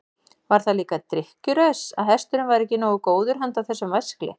Var það líka drykkjuraus að hesturinn væri ekki nógu góður handa þessum væskli?